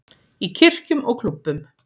Í kirkjum og klúbbum.